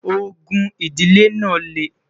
ògún idile nà le